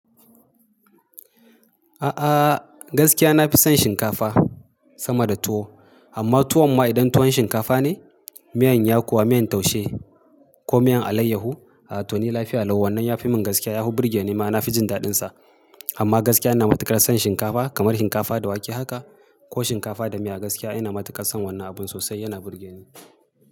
A'a, gaskiya na fi son shinkafa sama da tuwo. Amma tuwon ma idan tuwon shinkafa ne, miyan yakuwa miyan taushe ko miyan alayyahu, a to ni lafiya lau. Wannan ya fi min gaskiya, ya fi burge ni. Ma na, fi jin daɗinsa. Amma gaskiya ina matukar son shinkafa kamar shinkafa da wake haka ko shinkafa da miya. Gaskiya ina matukar son wannan abun sosai, yana burge ni.